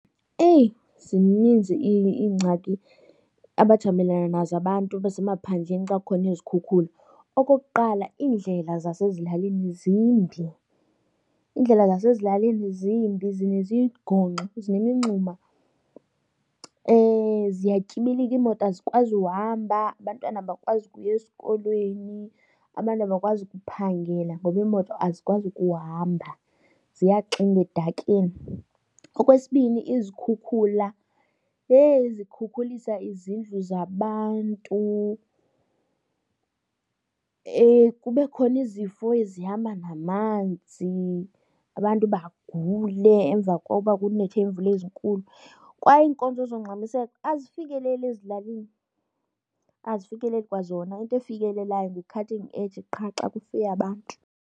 Eyi, zininzi iingxaki abajamelana nazo abantu basemaphandleni xa kukhona izikhukhula. Okokuqala iindlela zasezilalini zimbi, iindlela zasezilalini zimbi zinezigongxo zinemingxuma. Ziyatyibilika iimoto azikwazi uhamba, abantwana abakwazi ukuya esikolweni, abantu abakwazi kuphangela ngoba iimoto azikwazi ukuhamba ziyaxinga edakeni. Okwesibini izikhukhula, heyi, zikhukhulisa izindlu zabantu. Kube khona izifo ezihamba namanzi, abantu bagule emva koba kunethe iimvula ezinkulu. Kwaye iinkonzo zongxamiseko azifikeleli ezilalini, azifikeleli kwazona, into efikelelayo ngu-Cutting Edge qha xa kufe abantu.